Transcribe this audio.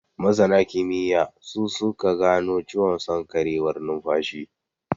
Masana kimiyya, su su ka gano ciwon sarƙewar nunfashi.